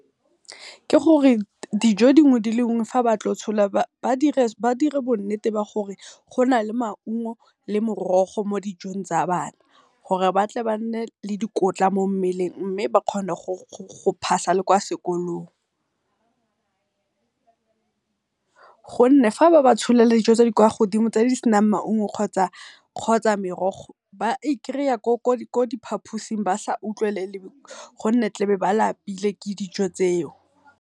Ke gore dijo dingwe le dingwe fa ba tlo go tshola ba dire bonnete ba gore gona le maungo le morogo mo dijong tsa bana, gore ba tle ba nne le dikotla mo mmeleng mme ba kgone go pass-a le kwa sekolong. Gonne ga ba ba tsholela dijo tse di kwa godimo tse di senang maungo kgotsa merogo ba i kry-a ko di phaphusi ba sa utlwelele gonne tla be ba lapile ke dijo tseo.